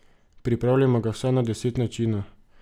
Pripravljamo ga vsaj na deset načinov.